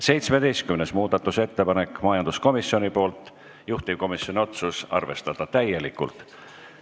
17. muudatusettepanek majanduskomisjonilt, juhtivkomisjoni otsus: arvestada täielikult.